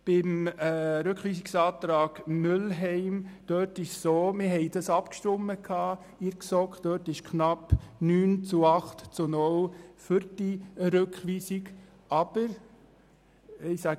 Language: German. Beim Rückweisungsantrag Mühlheim verhält es sich so, dass die GSoK darüber abgestimmt und sich mit knapp 9 zu 8 zu 0 Stimmen für die Rückweisung ausgesprochen hat.